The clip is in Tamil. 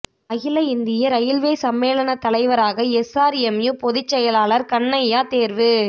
அகில இந்திய ரயில்வே சம்மேளன தலைவராக எஸ்ஆா்எம்யூ பொதுச் செயலாளா் கண்ணையா தோ்வு